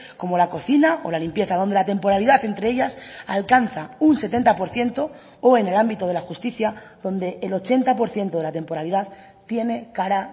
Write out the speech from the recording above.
como la cocina o la limpieza donde la temporalidad entre ellas alcanza un setenta por ciento o en el ámbito de la justicia donde el ochenta por ciento de la temporalidad tiene cara